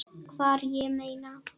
Hvar, ég meina.